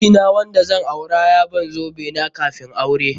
Miji na wanda zan aure ya ban zobe na kafun aure.